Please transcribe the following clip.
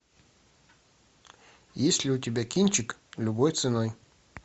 есть ли у тебя кинчик любой ценой